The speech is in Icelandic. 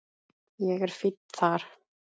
Ég er fínn þar.